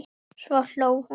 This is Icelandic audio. Svo hló hún.